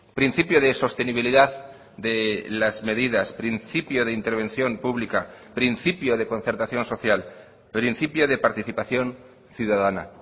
principio de sostenibilidad de las medidas principio de intervención pública principio de concertación social principio de participación ciudadana